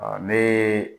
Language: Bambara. Ne